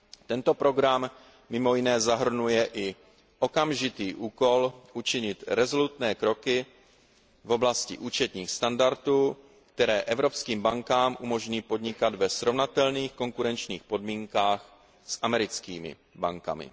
Tento program mimo jiné zahrnuje i okamžitý úkol učinit rezolutní kroky v oblasti účetních standardů, které evropským bankám umožní podnikat ve srovnatelných konkurenčních podmínkách s americkými bankami.